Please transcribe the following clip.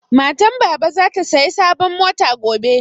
Matan baba na zata saya sabon mota gobe